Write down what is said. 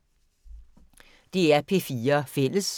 DR P4 Fælles